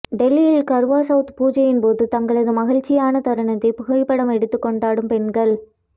டெல்லியில் கர்வா செளத் பூஜையின் போது தங்களது மகிழ்ச்சியான தருணத்தை புகைப்படம் எடுத்து கொண்டாடும் பெண்கள்